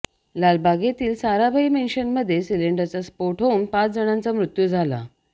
लालबाग येथील साराभाई मेन्शनमध्ये सिलिंडरचा स्फोट होऊन पाच जणांचा मृत्यू झाला